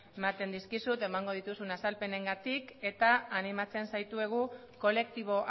ematen dizkizut emango dituzun azalpenengatik eta animatzen zaitugu kolektibo